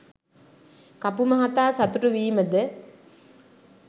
කපු මහතා සතුටු වීමද